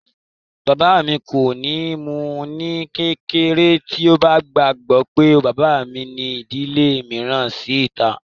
Bàbá mi kò ní mú u ní kékeré tí ó bá gbọ́ pé bàbá mi ní ìdílé mìíràn sí ìta